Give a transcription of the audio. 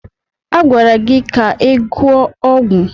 A gwara gị ka ị gụọ ọgwụ.